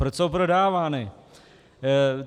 Proč jsou prodávány?